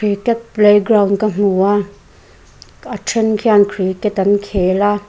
cricket playground ka hmu a a then khian cricket an khel a.